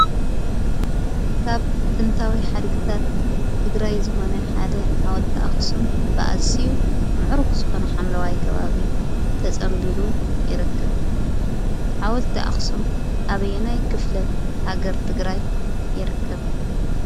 ጥንታዊ ሓድግታት ትግራይ ዝኾነ ሓደ ሓወልቲ ኣኽሱም ብኣዝዩ ምዕሩግ ዝኾነ ሓምለዋይ ከባቢ ተፀምቢሉ ይርከብ፡፡ ሓወልቲ ኣኽሱም ኣበየናይ ክፍለ ሃገር ትግራይ ይርከብ?